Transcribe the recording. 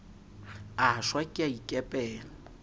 a shwa ke a ikepela